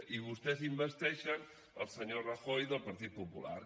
i vostès investeixen el senyor rajoy del partit popular